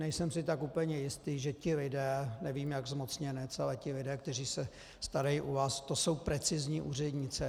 Nejsem si tak úplně jistý, že ti lidé, nevím, jak zmocněnec, ale ti lidé, kteří se starají u vás, to jsou precizní úřednice.